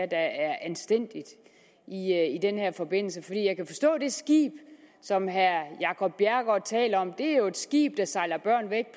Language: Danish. der er anstændigt i den her forbindelse for jeg kan forstå at det skib som herre jacob bjerregaard taler om jo er et skib der sejler børn af